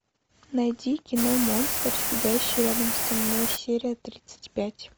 найди кино монстр сидящий рядом со мной серия тридцать пять